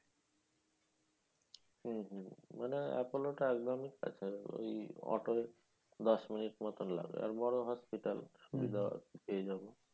হম হম মানে আপলোটা একদমই কাছে ও. ই অটোয় দশ মিনিট মতন লাগে। আর বড় hospital সুবিধা পেয়ে যাবো।